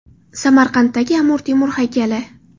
Samarqanddagi Amir Temur haykali.